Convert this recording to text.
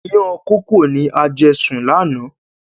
Ìyàn kókò ni a jẹ sùn lànà